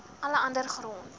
alle ander grond